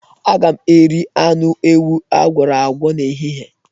Aga m eri anụ ewu a gwọrọ agwọ n'ehihie.